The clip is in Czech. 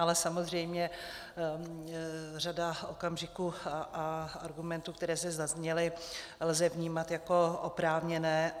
Ale samozřejmě řadu okamžiků a argumentů, které zde zazněly, lze vnímat jako oprávněné.